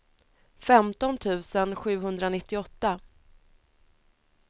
femton tusen sjuhundranittioåtta